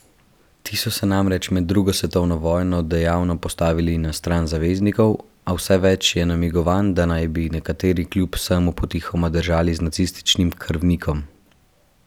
Ti so se namreč med drugo svetovno vojno dejavno postavili na stran zaveznikov, a vse več je namigovanj, da naj bi nekateri kljub vsemu potihoma držali z nacističnim krvnikom.